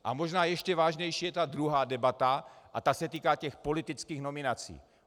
A možná ještě vážnější je ta druhá debata a ta se týká těch politických nominací.